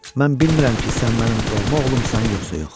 Mən bilmirəm ki, sən mənim doğma oğlumsan yoxsa yox,